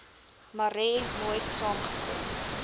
marais nooit saamgestem